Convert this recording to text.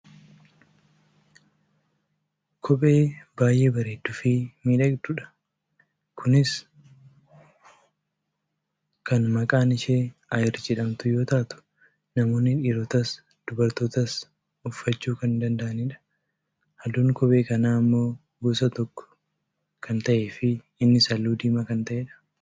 kophee baayyee bareeduufi miidhagdudha. kunis kan maqaan ishee ayir jedhamtu yoo taatu namoonni dhiirotaas dubartootaas uffachuu kan danda'anidha. halluun kophee kanaa ammoo gosa tokko kan ta'eefi innis halluu diimaa kan ta'edha.